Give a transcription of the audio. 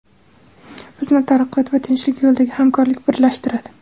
Bizni taraqqiyot va tinchlik yo‘lidagi hamkorlik birlashtiradi.